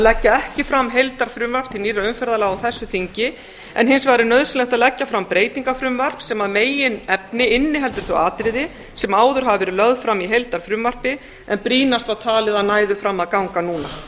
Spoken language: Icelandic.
leggja ekki fram heildarfrumvarp til nýrra umferðarlaga á þessu þingi en hins vegar er nauðsynlegt að leggja fram breytingafrumvarp sem að meginefni inniheldur þau atriði sem áður hafa verið lögð fram í heildarfrumvarpi en brýnast var talið að næðu fram að ganga núna